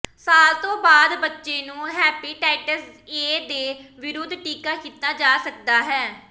ਸਾਲ ਤੋਂ ਬਾਅਦ ਬੱਚੇ ਨੂੰ ਹੈਪੇਟਾਈਟਸ ਏ ਦੇ ਵਿਰੁੱਧ ਟੀਕਾ ਕੀਤਾ ਜਾ ਸਕਦਾ ਹੈ